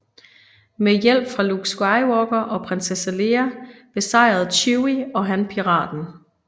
Med hjælp fra Luke Skywalker og Prinsesse Leia besejrede Chewie og Han piraten